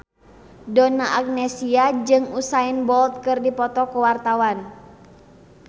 Donna Agnesia jeung Usain Bolt keur dipoto ku wartawan